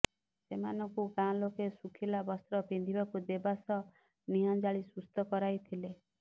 ସେମାନଙ୍କୁ ଗାଁ ଲୋକେ ଶୁଖିଲା ବସ୍ତ୍ର ପିନ୍ଧିବାକୁ ଦେବା ସହ ନିଆଁଜାଳି ସୁସ୍ଥ କରାଇଥିଲେ